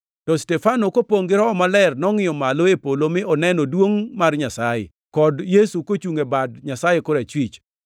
To Stefano, kopongʼ gi Roho Maler, nongʼiyo malo e polo mi oneno duongʼ mar Nyasaye, kod Yesu kochungʼ e bad Nyasaye korachwich.